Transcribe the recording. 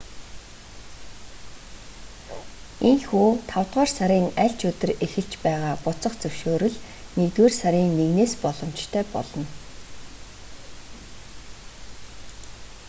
ийнхүү тавдугаар сарын аль ч өдөр эхэлж байгаа буцах зөвшөөрөл нэгдүгээр сарын 1-с боломжтой болно